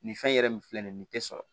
Nin fɛn in yɛrɛ nin filɛ nin ye nin te sɔrɔ